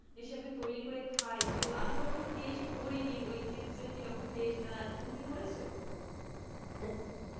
এইসব যে তৈরি করে খাই তো আমি কখনো taste করিনি ওই চিপসের কিরকম taste আহ তুমি কি করেছো?